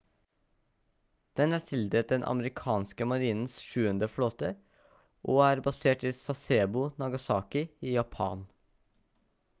den er tildelt den amerikanske marinens sjuende flåte og er basert i sasebo nagasaki i japan